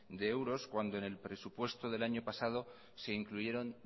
de euros cuando en el presupuesto del año pasado se incluyeron